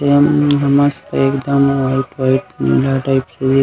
tent ऊंनट ह एकदम मस्त वाइट वाइट नीला टाइप से--